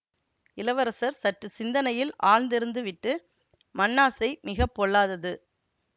இளவரசர் சற்று சிந்தனையில் ஆழ்ந்திருந்து விட்டு மண்ணாசை மிக பொல்லாதது